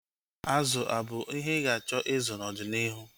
Azụ abụ ihe ị ga-achọ ịzụ n'ọdịnihu?